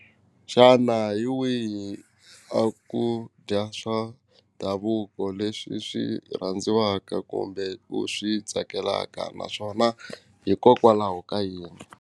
Xana hi wihi a ku dya swa ndhavuko leswi swi rhandziwaka kumbe ku swi tsakelaka naswona hikokwalaho ka yini.